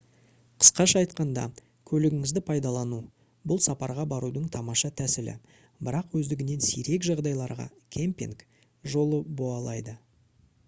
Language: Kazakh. қысқаша айтқанда көлігіңізді пайдалану — бұл сапарға барудың тамаша тәсілі бірақ өздігінен сирек жағдайларда «кемпинг» жолы боалды